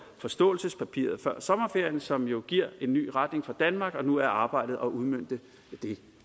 forståelsespapiret som jo giver en ny retning for danmark og nu er arbejdet at udmønte det